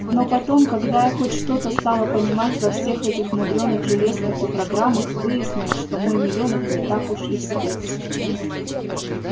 но потом когда я хоть что-то стала понимать во всех этих мудрёных железках и программах выяснилось что мой милёнок не такой уж и спец